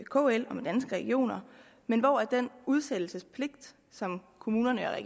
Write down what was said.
kl og med danske regioner men hvor den udsættelsespligt som kommunerne og